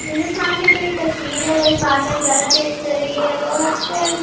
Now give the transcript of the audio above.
میرے سامنے جو ایک تشویر ہے۔ وو ایک بہار کا نظارہ پیش کر رہی ہے۔ لوگ اکثر--